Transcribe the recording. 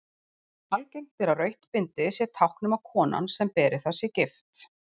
Algengt er að rautt bindi sé tákn um að konan sem beri það sé gift.